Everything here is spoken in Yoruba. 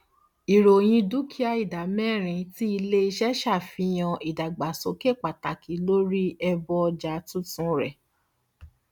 ìròyìn dúkìà ìdá mẹrin ti iléiṣẹ ṣàfihàn ìdàgbàsókè pàtàkì lórí ẹbọ ọja tuntun rẹ